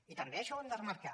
i també això ho hem de remarcar